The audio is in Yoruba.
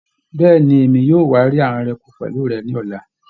Bẹẹni, Èmi yóò wa rí àwọn ẹranko pẹlu rẹ ni ọla